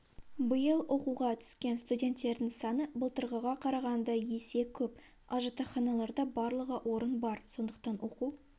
биыл оқуға түскен студенттердің саны былтырғыға қарағанда есе көп ал жатақханаларда барлығы орын бар сондықтан оқу